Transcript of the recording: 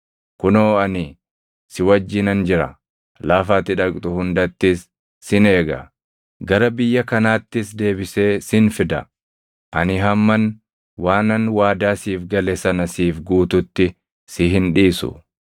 Kunoo ani si wajjinan jira; lafa ati dhaqxu hundattis sin eega; gara biyya kanaattis deebisee sin fida. Ani hamman waanan waadaa siif gale sana siif guututti si hin dhiisu.”